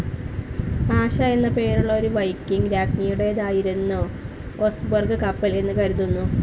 ആശ എന്ന പേരുള്ള ഒരു വൈക്കിംഗ്‌ രാജ്ഞിയുടേതായിരുന്നു ഒസ്ബെർഗ് കപ്പൽ എന്ന് കരുതുന്നു.